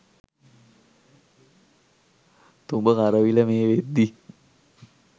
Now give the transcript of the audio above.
තුඹ කරවිල මේ වෙද්දි